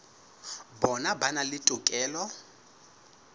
bona ba na le tokelo